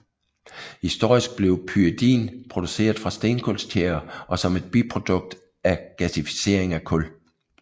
Historisk blev pyridin produceret fra stenkulstjære og som et biprodukt af gasificering af kul